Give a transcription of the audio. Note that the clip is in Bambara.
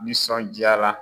Ni sɔn diyara.